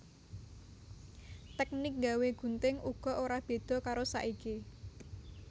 Teknik nggawé gunting uga ora beda karo saiki